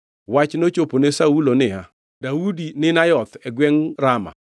Wach nochopo ne Saulo niya, “Daudi ni Nayoth e gwengʼ Rama”